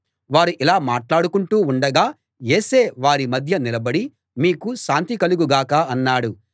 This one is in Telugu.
వారు ఇలా మాట్లాడుకుంటూ ఉండగా యేసే వారి మధ్య నిలబడి మీకు శాంతి కలుగు గాక అన్నాడు